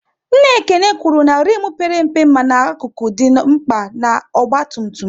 Nna Ekene kwụrụ na rimu père mpe mana akụkụ dị mkpa na ọgba tum tum